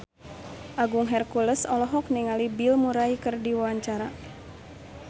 Agung Hercules olohok ningali Bill Murray keur diwawancara